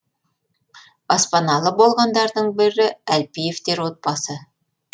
баспаналы болғандардың бірі әлпиевтер отбасы